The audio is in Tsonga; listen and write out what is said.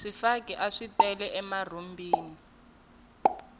swifaki aswi tele emarhumbini